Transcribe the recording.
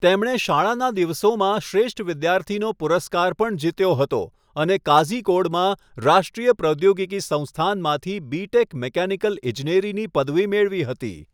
તેમણે શાળાનાં દિવસોમાં શ્રેષ્ઠ વિદ્યાર્થીનો પુરસ્કાર પણ જીત્યો હતો અને કાઝિકોડમાં રાષ્ટ્રીય પ્રૌદ્યોગિકી સંસ્થાનમાંથી બી.ટેક. મિકેનિકલ ઇજનેરીની પદવી મેળવી હતી.